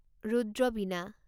ৰুদ্ৰ বীণা